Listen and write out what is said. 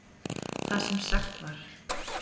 Það sem sagt var